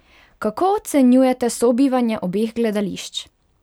Kako ocenjujete sobivanje obeh gledališč?